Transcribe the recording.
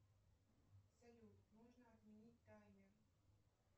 салют нужно отменить таймер